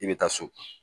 I bɛ taa so